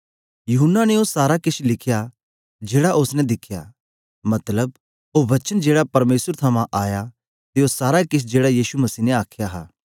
यूहन्ना ने ओ सारा केश लिखया जेड़ा ओसने दिखया मतलब ओ वचन जेड़ा परमेसर थमां आया ते ओ सारा केश जेड़ा यीशु मसीह ने आखया हा